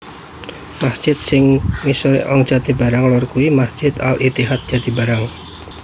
Masjid sing misuwur ing Jatibarang Lor yakuwi Masjid Al Ittihad Jatibarang